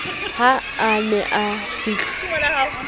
ha a ne a fihla